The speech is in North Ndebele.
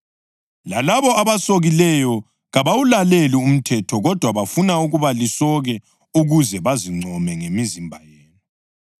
Lalabo abasokileyo kabawulaleli umthetho kodwa bafuna ukuba lisoke ukuze bazincome ngemizimba yenu.